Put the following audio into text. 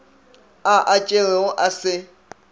a a tšerego a se